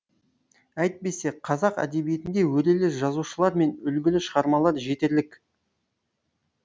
әйтбесе қазақ әдебиетінде өрелі жазушылар мен үлгілі шығармалар жетерлік